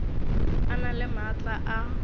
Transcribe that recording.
a na le maatla a